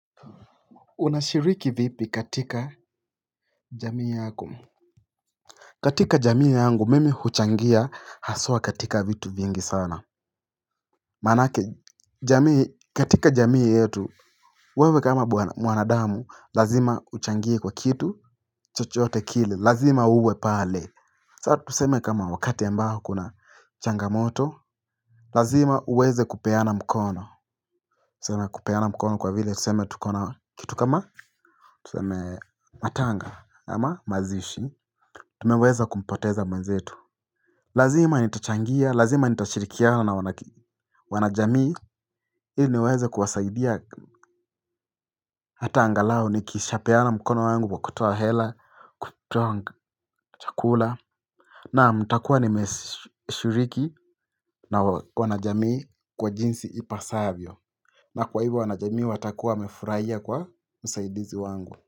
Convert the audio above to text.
Unashiriki vipi katika jamii yako. Katika jamii yangu mimi huchangia haswa katika vitu vingi sana. Maanake jamii katika jamii yetu wewe kama mwanadamu lazima uchangie kwa kitu chochote kile lazima uwe pale. Saa tuseme kama wakati ambao kuna changamoto lazima uweze kupeana mkono. Tuseme kupeana mkono kwa vile tuseme tukona kitu kama tuseme matanga ama mazishi. Tumeweza kumpoteza mwenzetu. Lazima nitachangia, lazima nitashirikiana na wanajamii ili niweze kuwasaidia. Hata angalau ni kishapeana mkono wangu wa kutoa hela, chakula. Naam nitakuwa nimeshiriki na wanajamii kwa jinsi ipasavyo. Na kwa hivyo wanajamii watakua wamefurahia kwa usaidizi wangu.